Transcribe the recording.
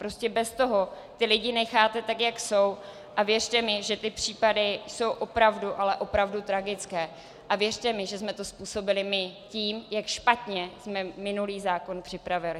Prostě bez toho ty lidi necháte tak, jak jsou, a věřte mi, že ty případy jsou opravdu, ale opravdu tragické, a věřte mi, že jsme to způsobili my tím, jak špatně jsme minulý zákon připravili.